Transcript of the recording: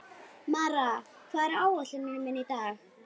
Mara, hvað er á áætluninni minni í dag?